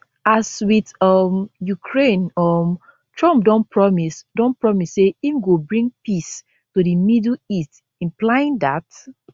as wit um ukraine um trump don promise don promise say im go bring peace to di middle east implying dat